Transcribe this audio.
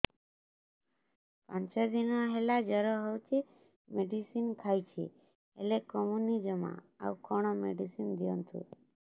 ପାଞ୍ଚ ଦିନ ହେଲା ଜର ହଉଛି ମେଡିସିନ ଖାଇଛି ହେଲେ କମୁନି ଜମା ଆଉ କଣ ମେଡ଼ିସିନ ଦିଅନ୍ତୁ